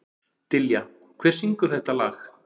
Dilja, hver syngur þetta lag?